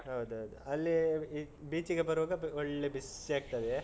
ಹೌದ್ ಹೌದು. ಅಲ್ಲಿ beach ಗೆ ಬರುವಾಗ ಒಳ್ಳೇ ಬಿಸ್ಸಿಯಾಗ್ತದೆ,